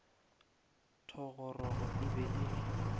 thogorogo e be e le